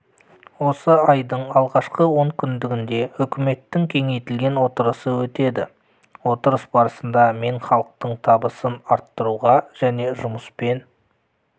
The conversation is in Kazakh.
осы айдың алғашқы онкүндігінде үкіметтің кеңейтілген отырысы өтеді отырыс барысында мен халықтың табысын арттыруға және жұмыспен